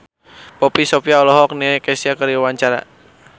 Poppy Sovia olohok ningali Kesha keur diwawancara